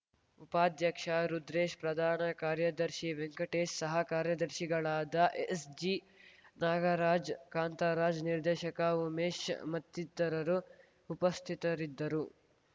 ಉಪಾಧ್ಯಕ್ಷ ರುದ್ರೇಶ್‌ ಪ್ರಧಾನ ಕಾರ್ಯದರ್ಶಿ ವೆಂಕಟೇಶ್‌ ಸಹ ಕಾರ್ಯದರ್ಶಿಗಳಾದ ಎಸ್‌ಜಿ ನಾಗರಾಜ್‌ ಕಾಂತರಾಜ್‌ ನಿರ್ದೇಶಕ ಉಮೇಶ್‌ ಮತ್ತಿತರರು ಉಪಸ್ಥಿತರಿದ್ದರು